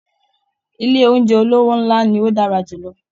Ilé oúnjẹ olówó ńlá ni ó dára jù lọ